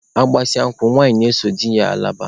Agbasịa nkwụ, nwanyị ga-eso di ya laba.